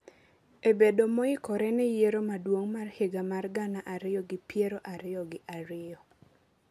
e bedo moikore ne Yiero Maduong’ mar higa mar gana ariyo gi piero ariyo gi ariyo.